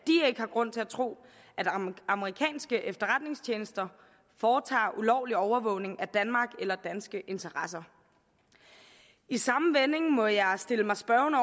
ikke har grund til at tro at amerikanske efterretningstjenester foretager ulovlig overvågning af danmark eller danske interesser i samme vending må jeg stille mig spørgende